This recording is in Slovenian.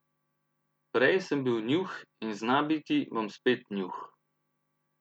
Prej sem bil Njuh in znabiti bom spet Njuh.